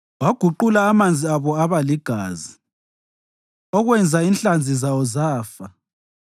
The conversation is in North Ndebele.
Waguqula amanzi abo aba ligazi, okwenza inhlanzi zawo zafa.